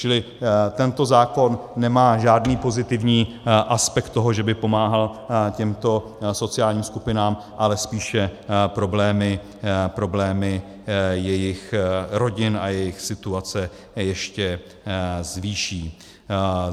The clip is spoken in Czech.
Čili tento zákon nemá žádný pozitivní aspekt toho, že by pomáhal těmto sociálním skupinám, ale spíše problémy jejich rodin a jejich situace ještě zvýší.